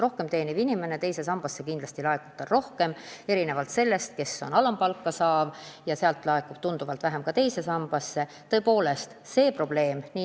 Rohkem teenival inimesel laekub teise sambasse kindlasti rohkem raha kui alampalka saaval – viimasel laekub teise sambasse tunduvalt vähem.